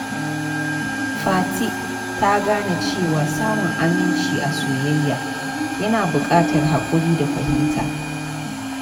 Fati ta gane cewa samun aminci a soyayya yana bukatar hakuri da fahimta.